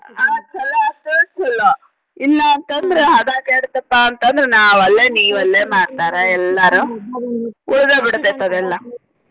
ಆಹ್ ಚೊಲೋ ಆತ ಚೊಲೋ ಇಲ್ಲ ಅಂತ ಅಂದ್ರ ಹದಾ ಕೆಟ್ತಪಾ ಅಂತ ಅಂದ್ರ ನಾ ಒಲ್ಲೆ ನಿ ಒಲ್ಲೆ ಮಾಡ್ತಾರ ಎಲ್ಲಾರು. ಉಳದ ಬಿಡ್ತೇತಿ ಅದೆಲ್ಲಾ.